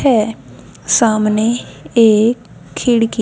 है सामने एक खिड़की --